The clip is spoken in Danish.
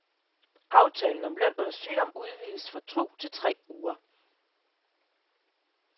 Aftalen om løn under sygdom udvides fra to til tre uger.